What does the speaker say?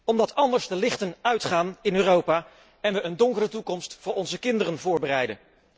Omdat anders de lichten uitgaan in Europa en we een donkere toekomst voor onze kinderen voorbereiden.